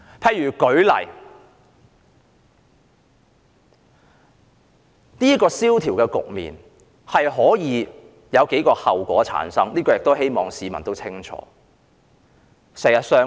我舉例來說，經濟蕭條的局面可能會產生數個後果，希望市民也清楚。